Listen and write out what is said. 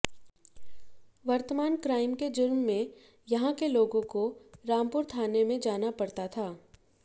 वर्तमान क्राइम के जुर्म में यहां के लोगों को रामपुर थाने में जाना पड़ता था